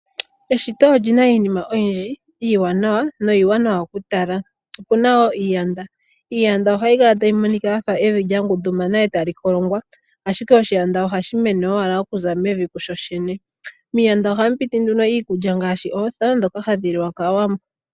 Eshito olina iinima oyindji iiwanawa niiwanawa okutalwa. Opuna iiyanda, iiyanda ohayi kala tayi monika yafa evi lyangundumana e tali kolongwa ihe oshiyanda ohashi mene owala okuza mevi shoshene. Miiyanda ohamu piti iikulya ngaashi ootha ndhoka hadhi li wa kaawambo.